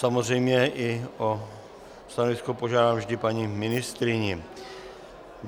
Samozřejmě i o stanovisko požádám vždy paní ministryni.